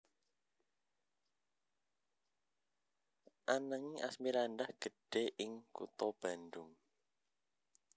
Ananging Asmirandah gedhe ing kutha Bandung